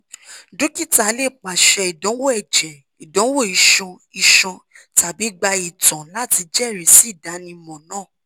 dokita le paṣẹ idanwo ẹjẹ idanwo iṣan iṣan tabi gba itan lati jẹrisi idanimọ naa